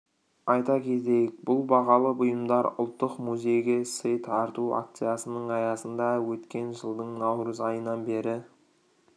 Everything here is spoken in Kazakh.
айта кетейік бұл бағалы бұйымдар ұлттық музейге сый тарту акциясының аясында өткен жылдың наурыз айынан бері